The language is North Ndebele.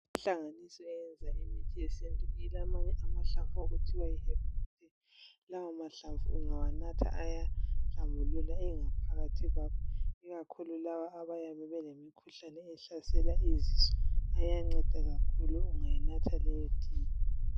Inhlanganiso eyenza imithi yesintu ilamanye amahlamvu okuthiwa yi hebhali thi. Lawo mahlamvu ungawanatha ayahlambulula ingaphakathi kwakho, ikakhulu laba abayabe belemikhuhlane ehlasela izinso! Iyanceda kakhulu ungayinatha leyo tiye.